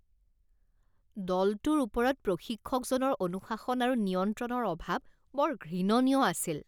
দলটোৰ ওপৰত প্ৰশিক্ষকজনৰ অনুশাসন আৰু নিয়ন্ত্ৰণৰ অভাৱ বৰ ঘৃণনীয় আছিল